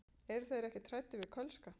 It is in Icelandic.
Eru þeir ekkert hræddir við Kölska?